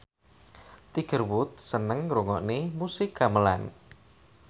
Tiger Wood seneng ngrungokne musik gamelan